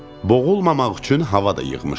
Boğulmamaq üçün hava da yığmışdım.